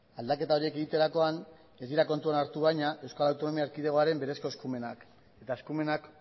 aldaketa horiek egiterakoan ez dira kontuan hartu baina euskal autonomia erkidegoaren berezko eskumenak eta eskumenak